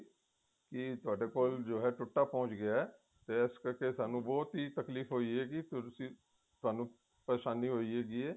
ਕੀ ਤੁਹਾਡੇ ਕੀ ਹੈ ਟੁੱਟਾ ਪਹੁੰਚ ਗਿਆ ਹੈ ਤੇ ਇਸ ਕਰਕੇ ਤੁਹਾਨੂੰ ਬਹੁਤ ਹੀ ਤਕਲੀਫ਼ ਹੋਈ ਹੈ ਵੀ ਤੁਸੀਂ ਤੁਹਾਨੂੰ ਪਰੇਸ਼ਾਨੀ ਹੋਈ ਹੈਗੀ ਹੈ